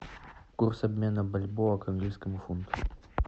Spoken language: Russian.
курс обмена бальбоа к английскому фунту